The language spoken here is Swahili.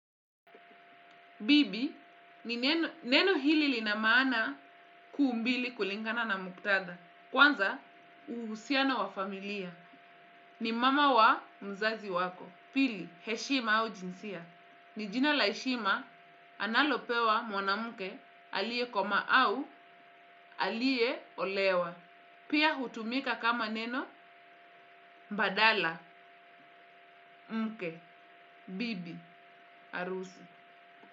Bibi ni neno hili lina maana kuu mbili kulingana na muktadha. Kwanza uhusiano wa familia. Ni mama wa mzazi wako. Pili heshima au jinsia. Ni jina la heshima analopewa mwanamke aliye komaa au aliyeolewa. Pia hutumika kama neno badala mke bibi harusi.